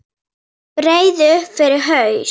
Breiði upp yfir haus.